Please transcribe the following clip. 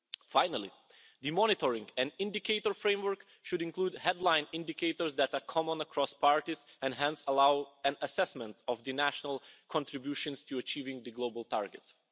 Finally, the monitoring and indicator framework should include headline indicators that are common across parties and hence allow an assessment of the national contributions to achieving the global targets.